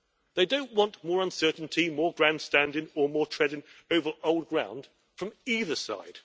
They don't want more uncertainty, more grandstanding or more treading over old ground from either side.